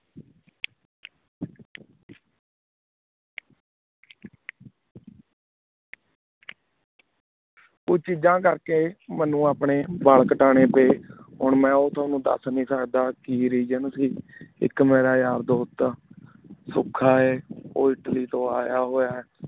ਊ ਚੀਜਾ ਕੇਰ ਕੀ ਮਨੁ ਅਪਨੀ ਵਾਲ ਕਾਟਨੀ ਪਾਏ ਹੋਣ ਮੈਂ ਓਥੋਂ ਦਸ ਨਾਈ ਸਕਦਾ ਕੀ ਰਾਜੋਂ ਸੇ ਇਕ ਮੇਰਾ ਯਾਰ ਦੋਸਤ ਆ ਸੋਕਾ ਆਯ ਊ ਇਟਲੀ ਤੋ ਯਾ ਹੋਯਾ ਹੈ